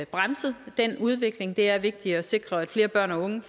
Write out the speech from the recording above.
bremset den udvikling det er vigtigt at sikre at flere børn og unge